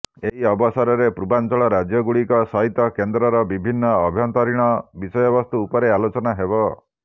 ଏହି ଅବସରରେ ପୂର୍ବାଞ୍ଚଳ ରାଜ୍ୟଗୁଡିକ ସହିତ କେନ୍ଦ୍ରର ବିଭିନ୍ନ ଆଭ୍ୟନ୍ତରୀଣ ବିଷୟବସ୍ତୁ ଉପରେ ଆଲୋଚନା ହେବ